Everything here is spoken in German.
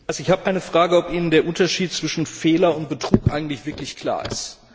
Ich möchte fragen, ob Ihnen der Unterschied zwischen Fehler und Betrug eigentlich wirklich klar ist.